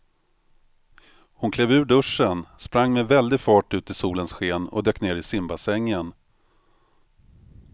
Hon klev ur duschen, sprang med väldig fart ut i solens sken och dök ner i simbassängen.